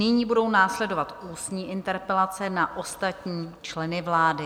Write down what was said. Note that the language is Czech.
Nyní budou následovat ústní interpelace na ostatní členy vlády.